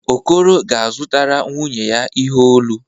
Okoro ga-azụtara nwunye ya ihe olu.